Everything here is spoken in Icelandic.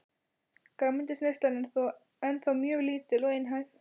Grænmetisneyslan er þó ennþá mjög lítil og einhæf.